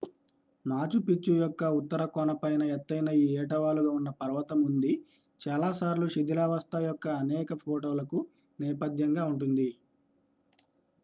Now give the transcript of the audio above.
Machu Picchu యొక్క ఉత్తర కొన పైన ఎత్తైన ఈ ఏటవాలు గా ఉన్న పర్వతం ఉంది చాలాసార్లు శిథిలావస్థ యొక్క అనేక ఫోటోలకు నేపథ్యంగా ఉంటుంది